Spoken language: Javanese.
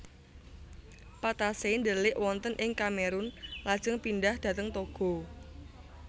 Patassé ndelik wonten ing Kamerun lajeng pindhah dhateng Togo